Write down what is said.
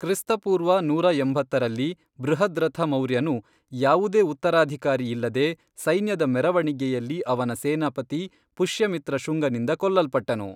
ಕ್ರಿಸ್ತ ಪೂರ್ವ ನೂರಾ ಎಂಬತ್ತರಲ್ಲಿ, ಬೃಹದ್ರಥ ಮೌರ್ಯನು, ಯಾವುದೇ ಉತ್ತರಾಧಿಕಾರಿ ಇಲ್ಲದೆ, ಸೈನ್ಯದ ಮೆರವಣಿಗೆಯಲ್ಲಿ ಅವನ ಸೇನಾಪತಿ ಪುಷ್ಯಮಿತ್ರ ಶುಂಗನಿಂದ ಕೊಲ್ಲಲ್ಪಟ್ಟನು.